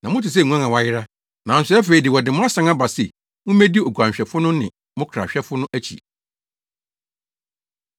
Na mote sɛ nguan a wɔayera,” nanso afei de, wɔde mo asan aba se mummedi Oguanhwɛfo no ne mo Krahwɛfo no akyi.